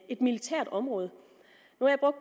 et militært område